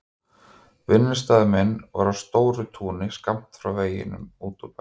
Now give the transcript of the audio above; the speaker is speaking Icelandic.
Vinnustaður minn var á stóru túni skammt frá veginum út úr bænum.